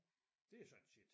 Det er sådan set